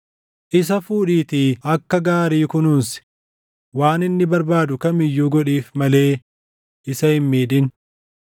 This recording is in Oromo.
“Isa fuudhiitii akka gaarii kunuunsi; waan inni barbaadu kam iyyuu godhiif malee isa hin miidhin.”